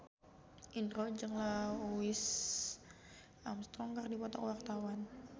Indro jeung Louis Armstrong keur dipoto ku wartawan